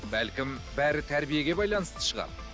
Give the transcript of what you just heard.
бәлкім бәрі тәрбиеге байланысты шығар